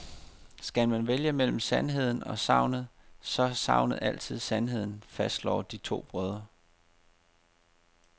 Skal man vælge mellem sandheden og sagnet, så er sagnet altid sandheden, fastslår de to brødre.